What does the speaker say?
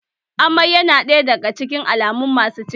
Amai ya na ɗaya daga cikin alamun ciki